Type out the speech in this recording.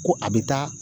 Ko a bɛ taa